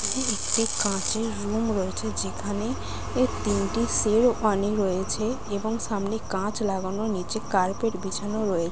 একটি কাঁচের রুম রয়েছে যেখানে এই তিনটি সেরওয়ানি রয়েছে এবং সামনে কাঁচ লাগানো নিচে কার্পেট বিছানো রয়েছ--